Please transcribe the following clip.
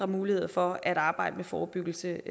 muligheder for at arbejde med forebyggelse